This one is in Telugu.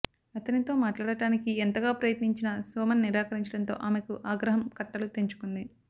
అతనితో మాట్లాడటానికి ఎంతగా ప్రయత్నించినా సోమన్ నిరాకరించడంతో ఆమెకు ఆగ్రహం కట్టలు తెంచుకుంది